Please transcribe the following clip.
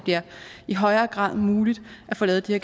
i højere grad bliver muligt at få lavet de